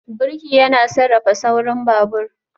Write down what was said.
Birki yana sarrafa saurin babur